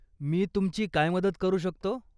मी तुमची काय मदत करू शकतो?